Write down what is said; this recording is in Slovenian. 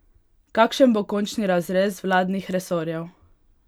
Kakšen bo končni razrez vladnih resorjev?